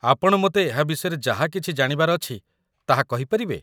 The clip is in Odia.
ଆପଣ ମୋତେ ଏହା ବିଷୟରେ ଯାହା କିଛି ଜାଣିବାର ଅଛି ତାହା କହିପାରିବେ ।